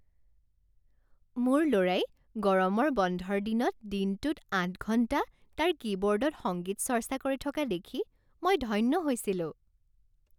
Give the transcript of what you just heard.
মোৰ ল'ৰাই গৰমৰ বন্ধৰ দিনত দিনটোত আঠ ঘণ্টা তাৰ কীবৰ্ডত সংগীত চৰ্চা কৰি থকা দেখি মই ধন্য হৈছিলোঁ।